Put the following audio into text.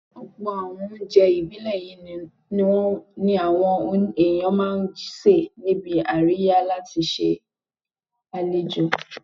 Ọ̀pọ̀ àwọn oúnjẹ ìbílẹ̀ yìí náà ni àwọn èèyàn máa ń sè níbi àríyá láti ṣe àlejò